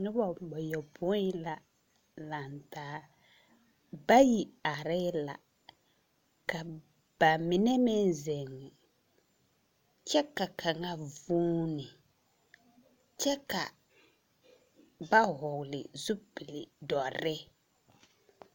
Noba bayɔpõĩ la laŋ taa, bayi arɛɛ la, ka ba mine meŋ zeŋe, kyɛ ka kaŋa vuuni, kyɛ ka ba vɔgle zupil-dɔre!